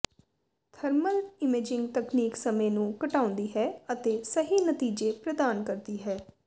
thermal imaging ਤਕਨੀਕ ਸਮੇਂ ਨੂੰ ਘਟਾਉਂਦੀ ਹੈ ਅਤੇ ਸਹੀ ਨਤੀਜੇ ਪ੍ਰਦਾਨ ਕਰਦੀ ਹੈ